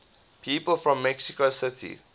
people from mexico city